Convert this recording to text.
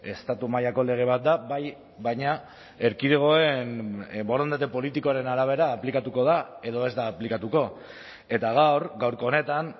estatu mailako lege bat da bai baina erkidegoen borondate politikoaren arabera aplikatuko da edo ez da aplikatuko eta gaur gaurko honetan